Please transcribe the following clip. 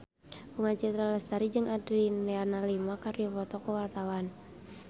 Bunga Citra Lestari jeung Adriana Lima keur dipoto ku wartawan